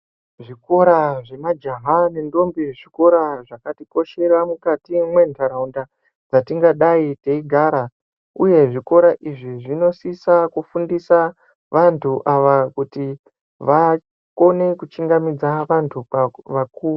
Zvikora zvemajaha nendombi zvikora zvakatikoshera mukati mwentaraunda dzatingadai teigara, uye zvikora izvi zvinosisa kufundisa vantu ava kuti vakone kuchingamidza vantu vakuru.